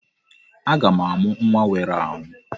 Aga m amụ nwa nwere ahụ.